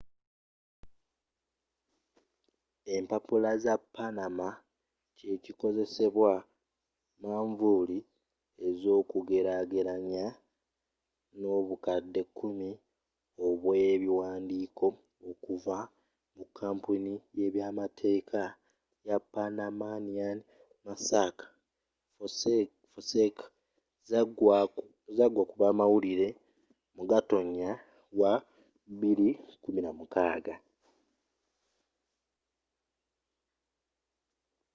empapula za panama” kyekikozesebwa manvuuli ez’okugelagelanya n’obukadde kumi obwebiwandiiko okuva mu kampuni y’ebyamateeka y’epanamanian mossack fonseca zagwakubamawulire mu gatonya wa 2016